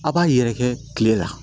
A b'a yɛrɛkɛ tile la